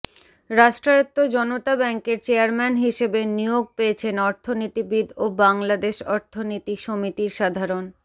রাষ্ট্রায়ত্ত জনতা ব্যাংকের চেয়ারম্যান হিসাবে নিয়োগ পেয়েছেন অর্থনীতিবিদ ও বাংলাদেশ অর্থনীতি সমিতির সাধারণ